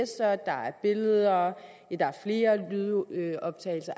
der er billeder ja der er flere lydoptagelser